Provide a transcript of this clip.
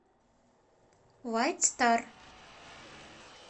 вайт стар